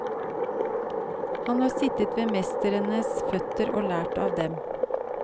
Han har sittet ved mestrenes føtter og lært av dem.